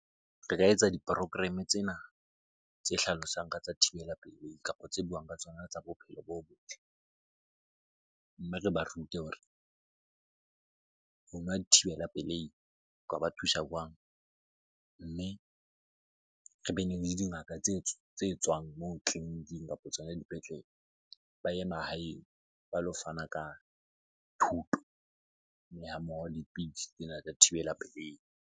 Re ka etsa di-program-e tsena tse hlalosang ka tsa thibela pelei kapo tse buang ka tsona tsa bophelo bo botle. Mme re ba rute hore ho nwa dithibela pelehi . Mme re bene le dingaka tse tswang moo tleliniking kapo tsona dipetlele. Ba ye mahaeng ba lo fana ka thuto ha mmoho le pidisi tsena tsa thibela pelehi.